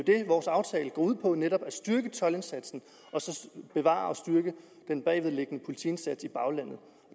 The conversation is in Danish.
vores aftale går ud på er netop at styrke toldindsatsen og så bevare og styrke den bagvedliggende politiindsats i baglandet